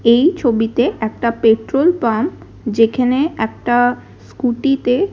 এই ছবিতে একটা পেট্রোল পাম্প যেখানে একটা স্কুটি -তে--